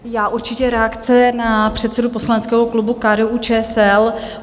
Já určitě reakce na předsedu poslaneckého klubu KDU-ČSL.